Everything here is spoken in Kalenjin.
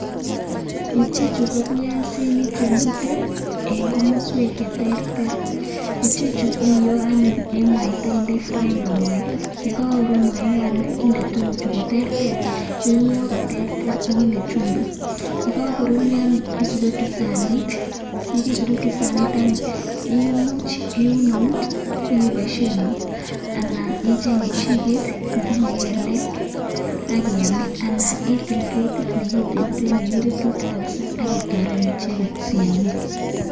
ichechuu ko piasinik chemiteii koterter ichechuu iyoiii eng fraiingpan atatyem yarurryoo isurukchii saniit akiamishee komnyeee